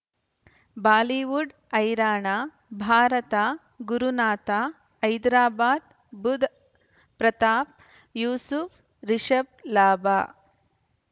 Bollywood ಹೈರಾಣ ಭಾರತ ಗುರುನಾಥ ಹೈದರಾಬಾದ್ ಬುಧ್ ಪ್ರತಾಪ್ ಯೂಸುಫ್ ರಿಷಬ್ ಲಾಭ